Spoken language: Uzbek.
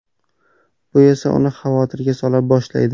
Bu esa uni xavotirga sola boshlaydi.